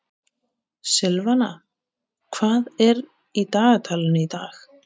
Silvana, hvað er í dagatalinu í dag?